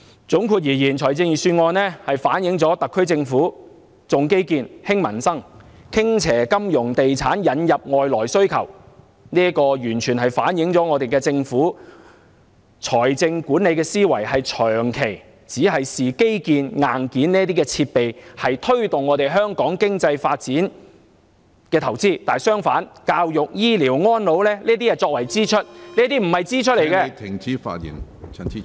總括而言，預算案顯示了特區政府"重基建，輕民生"、傾斜金融地產、引入外來需求，完全反映政府財政管理思維長期視基建及硬件設備為推動香港經濟發展的投資；相反，教育、醫療、安老則被視為支出，但這些並非支出......